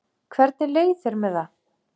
Hvernig leið þér með það?